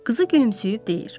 Qızı gülümsəyib deyir: